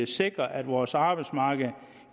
sikrer at vores arbejdsmarked